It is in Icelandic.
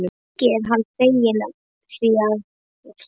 Mikið er hann feginn því að hafa tekið þessa ákvörðun.